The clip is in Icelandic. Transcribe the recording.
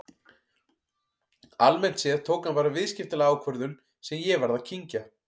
Almennt séð tók hann bara viðskiptalega ákvörðun sem ég varð að kyngja.